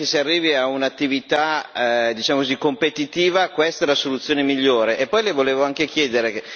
Cioè, se prima che si arrivi a un'attività, diciamo così competitiva, questa è la soluzione migliore?